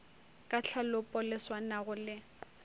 ka tlhalopo le swanago le